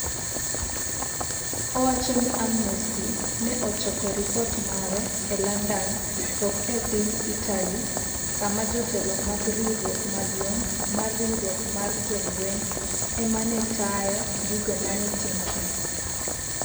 Owacho ni Amnesty ne ochoko ripot mare e London to ok e piny Italy, kama jotelo mag Riwruok Maduong' mar Riwruok mar Joweny ema ne tayo gigo mane timore.